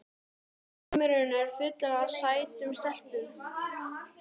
Heimurinn er fullur af sætum stelpum!